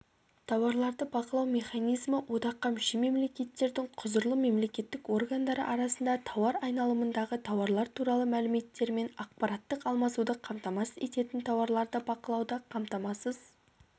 тауарларды бақылау механизмі одаққа мүше мемлекеттердің құзырлы мемлекеттік органдары арасында тауар айналымындағы тауарлар туралы мәліметтермен ақпараттық алмасуды қамтамасыз ететін тауарларды бақылауды қамтамасыз